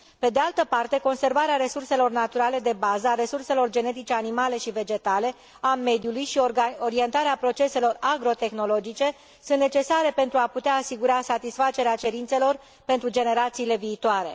Pe de altă parte, conservarea resurselor naturale de bază, a resurselor genetice animale și vegetale, a mediului și orientarea proceselor agrotehnologice sunt necesare pentru a putea asigura satisfacerea cerințelor pentru generațiile viitoare.